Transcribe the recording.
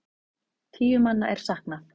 Tíu manna er saknað.